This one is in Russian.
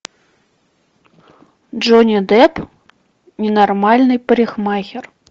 джонни депп ненормальный парикмахер